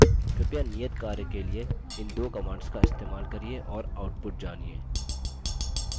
कृपया नियत कार्य के लिए इन दो commands का इस्तेमाल करिये और output जानिए